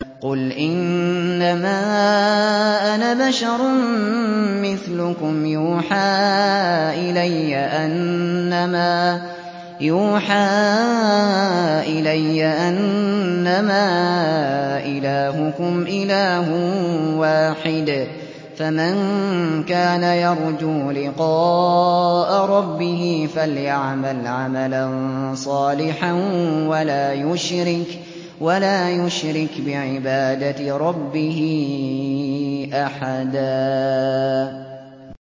قُلْ إِنَّمَا أَنَا بَشَرٌ مِّثْلُكُمْ يُوحَىٰ إِلَيَّ أَنَّمَا إِلَٰهُكُمْ إِلَٰهٌ وَاحِدٌ ۖ فَمَن كَانَ يَرْجُو لِقَاءَ رَبِّهِ فَلْيَعْمَلْ عَمَلًا صَالِحًا وَلَا يُشْرِكْ بِعِبَادَةِ رَبِّهِ أَحَدًا